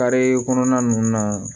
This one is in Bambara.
Kare kɔnɔna nunnu na